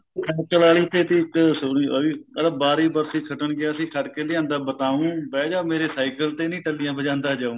ਦੇਤੀ ਇੱਕ ਸੂਲੀ ਆਹ ਵੀ ਕਹਿੰਦਾ ਬਾਰੀ ਬਰਸੀ ਖਟਣ ਗਿਆ ਸੀ ਖਟ ਕਿ ਲਿਆਉਂਦਾ ਬਤਾਉ ਬਹਿ ਜਾ ਮੇਰੇ cycle ਤੇ ਨੀ ਟੱਲੀਆਂ ਵਜਾਉਂਦਾ ਜਾਉ